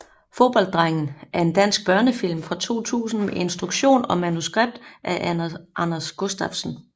Fodbolddrengen er en dansk børnefilm fra 2000 med instruktion og manuskript af Anders Gustafsson